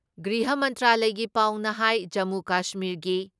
ꯒ꯭ꯔꯤꯍ ꯃꯟꯇ꯭ꯔꯥꯂꯌꯒꯤ ꯄꯥꯎꯅ ꯍꯥꯏ ꯖꯃꯨ ꯀꯁꯃꯤꯔꯒꯤ